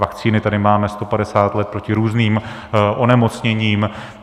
Vakcíny tady máme 150 let proti různým onemocněním.